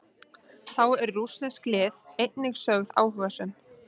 Þá eru rússnesk lið einnig sögð áhugasöm.